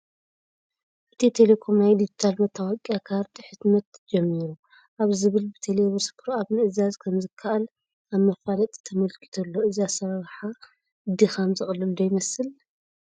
ኢትዮ ቴለኮም ናይ ዲጂታል መታወቂያ ካርድ ሕትመት ጀሚሩ ኣብ ዝብል ብቴለብር ሱፐርኣፕ ምእዛዝ ከምዝከኣል ኣብ መፋለጢ ተመልኪቱ ኣሎ፡፡ እዚ ኣሰራርሓ ድኻም ዘቕልል ዶ ይመስል?